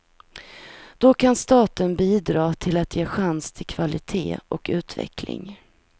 Då kan staten bidra till att ge chans till kvalitet och utveckling.